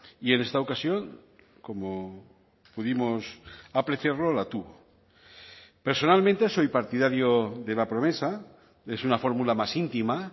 y en esta ocasión como pudimos apreciarlo la tuvo personalmente soy partidario de la promesa es una fórmula más íntima